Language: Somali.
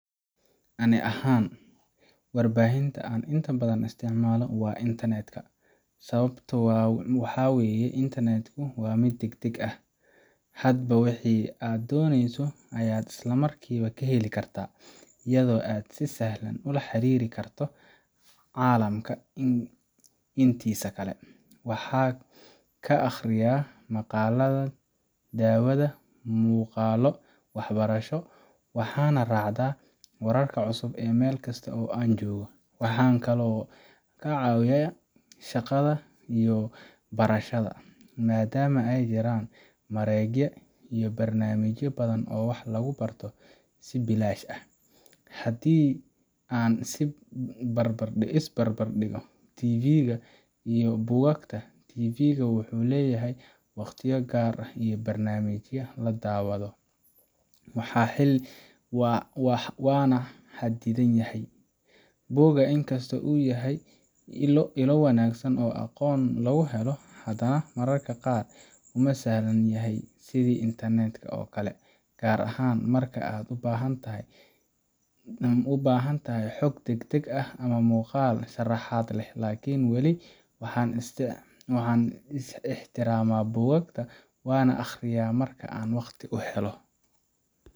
Aniga ahaan, warbaahinta aan inta badan isticmaalo waa internet ka. Sababtu waxa weeye internet ku waa mid degdeg ah, hadba wixii aad dooneyso ayaad isla markiiba ka heli kartaa, iyadoo aad si sahlan ula xiriiri karto caalamka intiisa kale. Waxaan ka akhriyaa maqaalada, daawadaa muuqaalo waxbarasho, waxaanan raacdaa wararka cusub meel kasta oo aan joogo. Waxaa kaloo iga caawiya shaqada iyo barashada, maadaama ay jiraan mareegaha iyo barnaamijyo badan oo wax lagu barto si bilaash ah. Haddii aan is barbar dhigo TV ga iyo buugaagta, TV ga wuxuu leeyahay waqtiyo gaar ah oo barnaamijyada la daawado, waana xaddidan yahay. Buuguna inkastoo uu yahay ilo wanaagsan oo aqoon lagu helo, hadana mararka qaar uma sahlan yahay sidii internet ka oo kale, gaar ahaan marka aad u baahan tahay xog degdeg ah ama muuqaal sharaxaad leh. Laakiin wali waxaan ixtiraamaa buugaagta, waana akhriyaa marka aan waqti u helo.